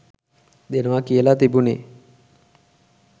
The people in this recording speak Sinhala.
දෙනවා කියල තිබුනෙ.